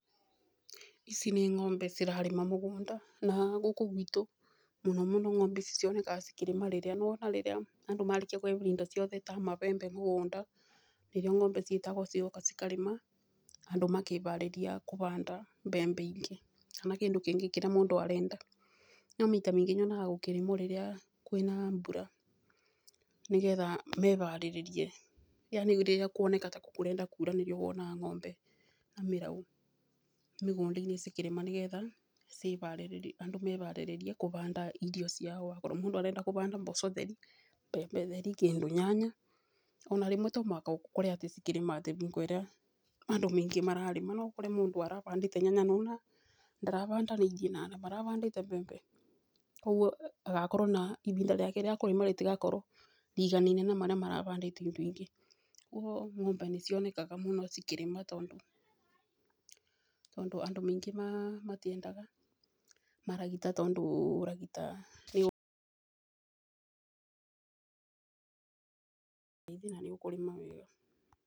Ici nĩ ng'ombe cirarĩma mũgũnda, na gũkũ gwitũ mũno mũno ng'ombe ici cionekaga cikĩrĩma rĩrĩa, nĩ wona andũ marĩkia kũria indo ciothe ta mabembe mũgũnda. nĩrĩo ng'ombe ciĩtagwo cigoka cikarĩma andũ makĩharĩria kũhanda mbembe ingĩ. Kana kĩndũ kĩngĩ kĩrĩa arenda. No maita maingĩ nyonaga gũkĩrĩmwa rĩrĩa kũĩna mbura, nĩgetha meharĩrĩrie, yaani rĩrĩa kũoneka ta kũrenda kuura nĩria wonaga ng'ombe na mĩraũ mĩgũnda-inĩ cikĩrĩma nĩgetha, andũ meharĩrĩre kũhanda irio ciao akorwo mũndũ arenda kũhanda mboco theri, mbembe theri, nginya nyanya, ona rĩmwe to mũhaka ũkore cikĩrĩma atĩ hingo ĩrĩa andũ maingĩ mararĩma, akorwo mũndũ arahandĩte nyanya nĩwona ndarahandanĩirie na andũ marahandĩte mbembe, koguo agakorwo na ihinda rĩake rĩa kũrĩma rĩtigakorwo rĩiganene na arĩa marahandĩte irio ingĩ. Koguo ng'ombe nĩ cionekanaga mũno cikĩrĩma tondũ, andũ maingĩ matĩendaga maragita tondũ maragita ndũrĩ thĩna nĩ ũkũrima wega.